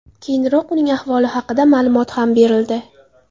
Keyinroq uning ahvoli haqida ma’lumot ham berildi .